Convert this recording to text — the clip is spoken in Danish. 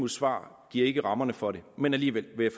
svar giver ikke rammerne for det men alligevel vil